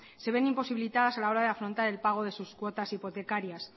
se ven imposibilitadas a la hora de afrontar el pago de sus cuotas hipotecarias